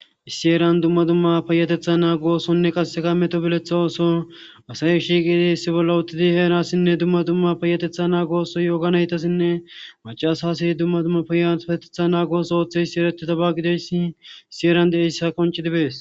Issi eran dumma dumma peyatetha naa gosonne qasseka meto beletha ooso asayi shiiqidi issi bolla uttidi heerassinne dumma dumma payatetha naag gooso yooganaytasinne macaas asiy dumma dumma payfetetha naagoos ooththe issi eretitabagideyssi issi eran de7ehissa qonci dibees.